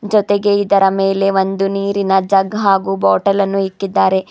ಜೊತೆಗೆ ಇದರ ಮೇಲೆ ಒಂದು ನೀರಿನ ಜಗ್ ಹಾಗು ಬಾಟಲನ್ನು ಇಕ್ಕಿದ್ದಾರೆ.